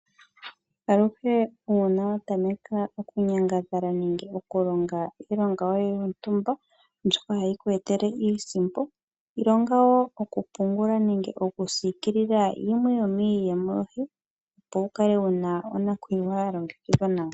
Aluhe uuna wa tameka okunyangadhala nenge okulonga iilonga yoye yontumba mbyoka hayi ku etele iisimpo, ilonga wo okupungula nenge okusikilila yimwe yomiiyemo yoye, opo wu kale wu na onakuyiwa ya longekidhwa nawa.